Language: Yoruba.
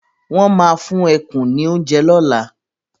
Won máa fún ẹkùn ní oúnjẹ lola